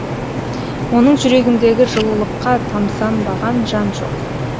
оның жүрегіндегі жылулыққа тамсанбаған жан жоқ